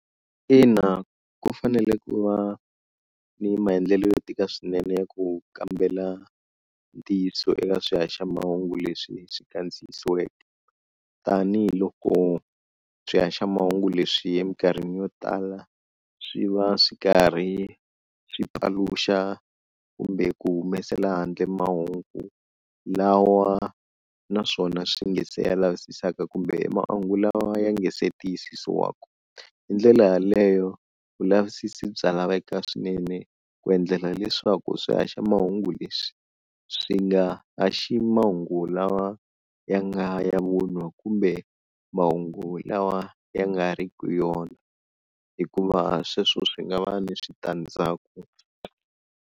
Ina ku fanele ku va ni maendlelo yo tika swinene ya ku kambela ntiyiso eka swihaxamahungu leswi swi kandziyisiweke tanihiloko swihaxamahungu leswi eminkarhini yo tala swi va swi karhi swi paluxa kumbe ku humesela handle mahungu lawa, naswona swi nga se ya lavisaka kumbe mahungu lawa ya nga se tiyisisiwaka, hi ndlela yaleyo vulavisisi bya laveka swinene ku endlela leswaku swihaxamahungu leswi swi nga haxi mahungu lawa ya nga ya vunwa kumbe mahungu lawa ya nga ri ki yona, hikuva sweswo swi nga va ni switandzaku.